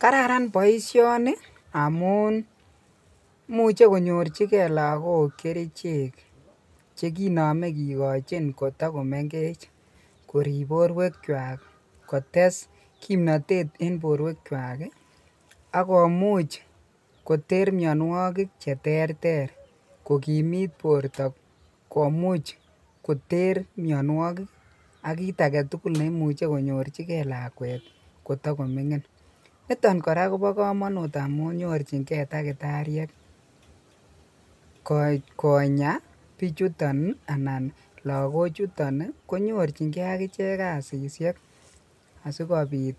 Kararan boishoni amun imuche konyorchike lokok kerichek chekinome kikochin koto komeng'ech korib borwekwak, kotes kimnotet en borwekwak ak komuch koter mionwokik cheterter ko kimit borto komuch koter mionwokik ak kiit aketukul neimuche konyorchike lakwet kotokoming'in niton kora kobokomonut amun nyorching'e takitariek konyaa bichuton anan lokochuton konyorching'e akichek kasisyek asikobit